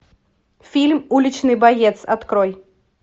фильм уличный боец открой